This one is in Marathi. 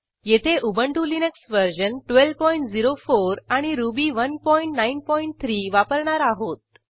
येथे उबंटु लिनक्स वर्जन 1204 आणि रुबी 193 वापरणार आहोत